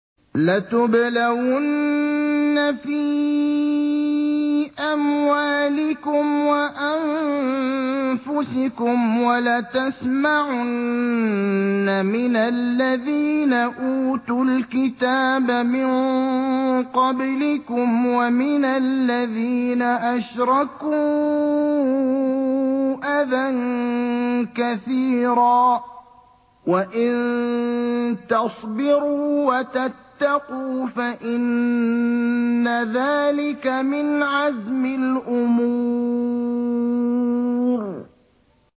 ۞ لَتُبْلَوُنَّ فِي أَمْوَالِكُمْ وَأَنفُسِكُمْ وَلَتَسْمَعُنَّ مِنَ الَّذِينَ أُوتُوا الْكِتَابَ مِن قَبْلِكُمْ وَمِنَ الَّذِينَ أَشْرَكُوا أَذًى كَثِيرًا ۚ وَإِن تَصْبِرُوا وَتَتَّقُوا فَإِنَّ ذَٰلِكَ مِنْ عَزْمِ الْأُمُورِ